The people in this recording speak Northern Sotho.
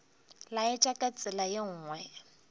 laetša ka tsela ye nngwe